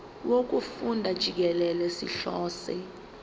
wokufunda jikelele sihlose